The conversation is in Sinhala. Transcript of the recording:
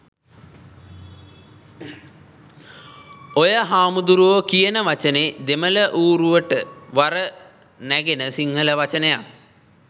ඔය හාමුදුරුවෝ කියන වචනේ දෙමළ ඌරුවට වර නැගෙන සිංහල වචනයක්.